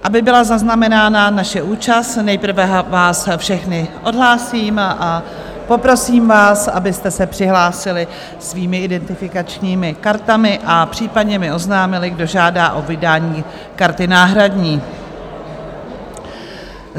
Aby byla zaznamenána naše účast, nejprve vás všechny odhlásím a poprosím vás, abyste se přihlásili svými identifikačními kartami a případně mi oznámili, kdo žádá o vydání karty náhradní.